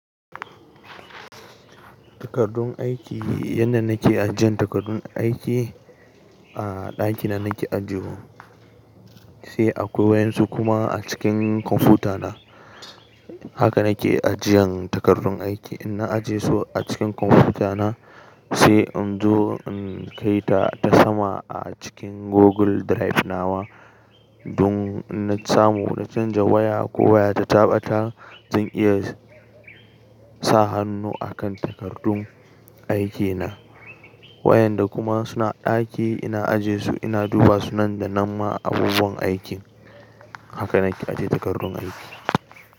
Takardun aiki, yanda nake ajian takardun aiki, a ɗaki na nake ajiye wasu, sai akwai wasu kuma a cikin kwamfutana. Haka nake ajiyan takardun aiki. In na ajiye su a cikin kwamfutana sai in zo in kaita ta sama a cikin Google Drive na wa, dun in na samu na canja waya ko waya ta taɓa ta zan iya sa hannu a kan takardun aikina. Wayanda kuma suna ɗaki ina ajie su ina duba su nan da nama a bubuwan aikin. Haka na ke ajie takardun aiki.